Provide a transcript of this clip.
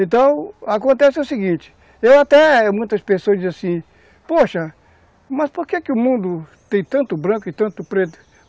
Então, acontece o seguinte, eu até, muitas pessoas dizem assim, poxa, mas por que que o mundo tem tanto branco e tanto preto?